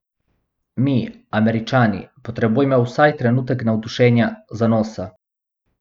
Mi, Američani, potrebujemo vsaj trenutek navdušenja, zanosa.